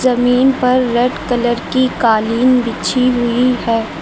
जमीन पर red colour की कालीन बिछी हुई है।